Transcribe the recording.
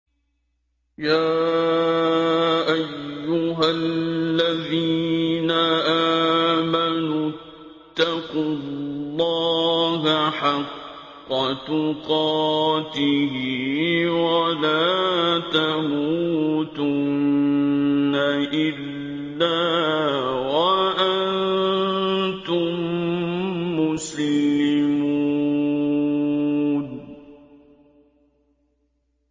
يَا أَيُّهَا الَّذِينَ آمَنُوا اتَّقُوا اللَّهَ حَقَّ تُقَاتِهِ وَلَا تَمُوتُنَّ إِلَّا وَأَنتُم مُّسْلِمُونَ